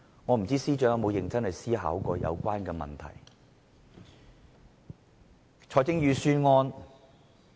我不知道司長有否認真思考這個問題？